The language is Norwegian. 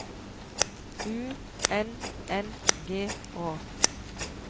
U N N G Å